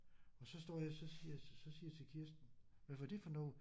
Og så står jeg så siger jeg så siger jeg til Kirsten hvad var det for noget?